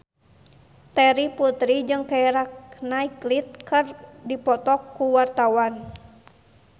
Terry Putri jeung Keira Knightley keur dipoto ku wartawan